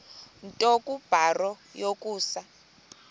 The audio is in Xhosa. nto kubarrow yokusa